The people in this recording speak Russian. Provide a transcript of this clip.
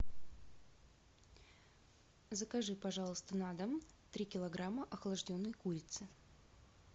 закажи пожалуйста на дом три килограмма охлажденной курицы